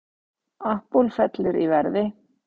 Apple fellur í verði